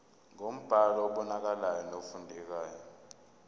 ngombhalo obonakalayo nofundekayo